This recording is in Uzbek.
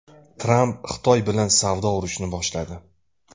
Tramp Xitoy bilan savdo urushini boshladi.